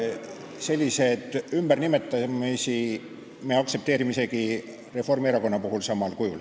Selliseid ümbernimetamisi me aktsepteerime isegi Reformierakonna puhul samal kujul.